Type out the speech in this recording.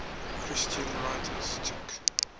christian writers took